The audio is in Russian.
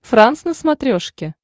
франс на смотрешке